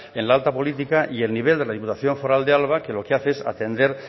en la alta política y el nivel de la diputación foral de álava que lo que hace es atender